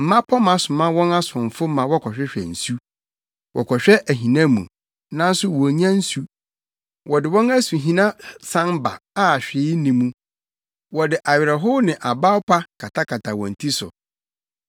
Mmapɔmma soma wɔn asomfo ma wɔkɔhwehwɛ nsu; wɔkɔhwɛ ahina mu nanso wonnya nsu. Wɔde wɔn asuhina san ba a hwee nni mu; wɔde awerɛhow ne abawpa katakata wɔn ti so.